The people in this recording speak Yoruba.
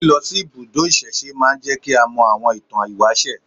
Lílọ sí ibùdó ìsẹ̀se máa ń jẹ́ kí a mọ àwọn ìtàn ìwáṣẹ̀